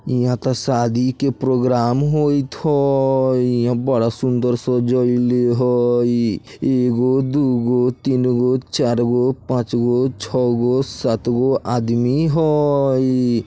इहाँ त शादी के प्रोग्राम होइत हई इहाँ बड़ा सुंदर सजइले हई एगो दुगो तीनगो चारगो पाँचगो छगो सातगो आदमी हई।